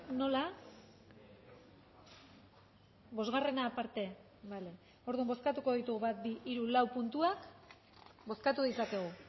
nola bosgarrena aparte bale orduan bozkatu ditugu bat bi hiru lau puntuak bozkatu ditzakegu